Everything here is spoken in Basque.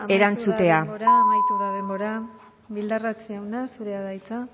erantzutea eskerrik asko amaitu da denbora bildarratz jauna zurea da hitza